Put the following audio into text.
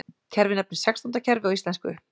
Kerfið nefnist sextándakerfi á íslensku.